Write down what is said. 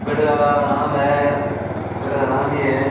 गढ़ का नाम है गढ़ का नाम ही है।